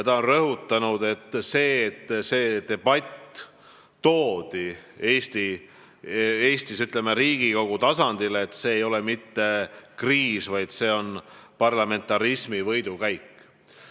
Ta on rõhutanud, et see, et selline debatt toodi Eestis Riigikogu tasandile, ei ole mitte kriis, vaid parlamentarismi võidukäik.